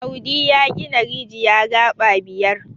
audi ya gina rijiya gaba biyar